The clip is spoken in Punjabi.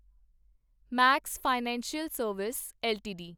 Max financial service LTD